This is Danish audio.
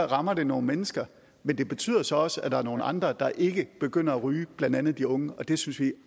rammer det nogle mennesker men det betyder så også at der er nogle andre der ikke begynder at ryge blandt andet de unge og det synes vi